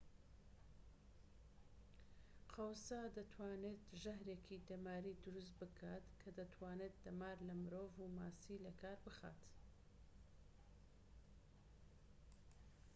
قەوزە دەتوانێت ژەهرێکی دەماری دروست بکات کە دەتوانێت دەمار لە مرۆڤ و ماسی لەکار بخات